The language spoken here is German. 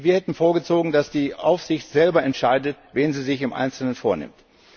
Wir hätten vorgezogen, dass die Aufsicht selber entscheidet, wen sie sich im Einzelnen vornimmt.